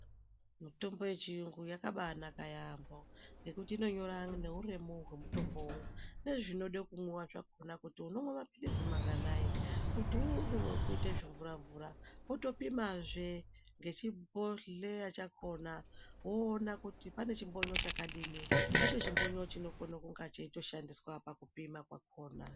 Mitombo yechiyungu yakambaanaka yamho ngekuti inonyora neuremu hwemutombo nezvinode kumwiwa zvakona kuti unomwe mapilizi manganai. Kuti uri wekuite zvimvura-mvura wotopimazve ngechibhodhleya chakona woone kuti pane chimbonyo chadini, ndicho chimbonyo chinokona kunge cheitoshandiswa pakupima kwakona.